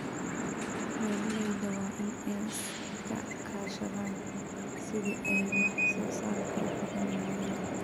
Beeralayda waa in ay iska kaashadaan sidii ay wax soo saarka u kordhin lahaayeen.